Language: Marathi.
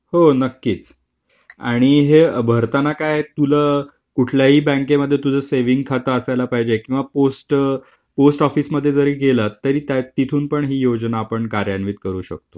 हो नक्कीच. आणि हे भरताना काय, तुला कुठल्याही बँकेमध्ये तुझं सेविंग खातं असायला पाहिजे किंवा पोस्ट ऑफिसमध्ये जरी गेलो तर तिथून पण ही योजना आपण कार्यरत करू शकतो.